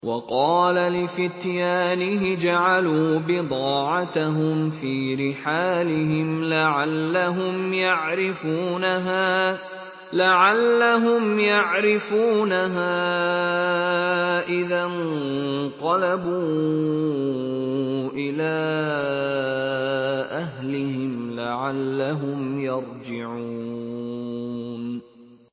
وَقَالَ لِفِتْيَانِهِ اجْعَلُوا بِضَاعَتَهُمْ فِي رِحَالِهِمْ لَعَلَّهُمْ يَعْرِفُونَهَا إِذَا انقَلَبُوا إِلَىٰ أَهْلِهِمْ لَعَلَّهُمْ يَرْجِعُونَ